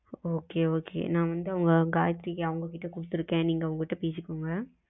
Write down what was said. okay நா வந்து காயத்திரி அவங்க கிட்ட குடுத்து இருக்கேன் நீங்க அவங்க கிட்ட பேசிகொங்க